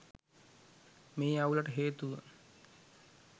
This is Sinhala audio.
මේ අවුලට හේතුව